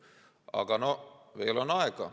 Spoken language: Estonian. Aga no veel on aega.